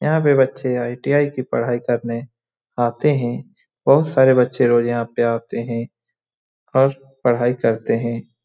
यहां पे बच्चे आई.टी.आई. की पढ़ाई करने आते हैं। बोहोत सारे बच्चे रोज यहाँ पे आते हैं और पढ़ाई करते हैं।